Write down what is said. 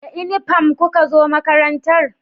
Da inifam ku ka zo makarantar?